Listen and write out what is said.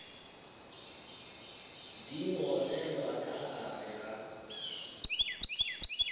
di gogelwa ka gare ga